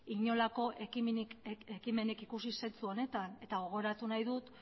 inolako ekimenik ikusi zentsu honetan eta gogoratu nahi dut